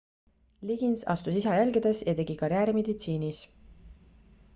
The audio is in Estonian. liggins astus isa jälgedes ja tegi karjääri meditsiinis